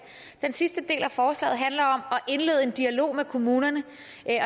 den sidste del af forslaget handler om at indlede en dialog med kommunerne